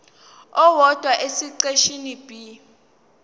owodwa esiqeshini b